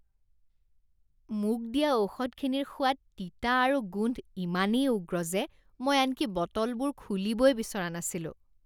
মোক দিয়া ঔষধখিনিৰ সোৱাদ তিতা আৰু গোন্ধ ইমানেই উগ্ৰ যে মই আনকি বটলবোৰ খুলিবই বিচৰা নাছিলোঁ।